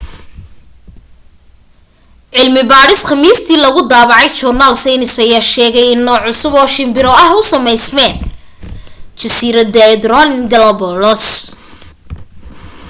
cilmi baadhis khamiistii lagu daabacay joornaal saynis ayaa sheegtay in nooc cusub oo shimbiro ah ku sameysmeen jasiiradaha ecuadorean galápagos